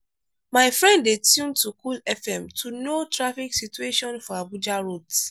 my friend dey tune to cool fm to know traffic situation for abuja roads.